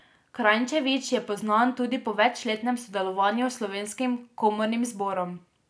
Kranjčević je poznan tudi po večletnem sodelovanju s Slovenskim komornim zborom.